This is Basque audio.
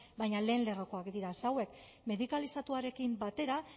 baina lehen lerrokoak dira ze hauek medikalizatuarekin batera